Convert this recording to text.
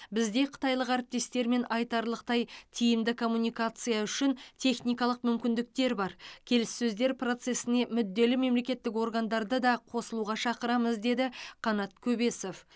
бізде қытайлық әріптестермен айтарлықтай тиімді коммуникация үшін техникалық мүмкіндіктер бар келіссөздер процесіне мүдделі мемлекеттік органдарды да қосылуға шақырамыз деді қанат көбесов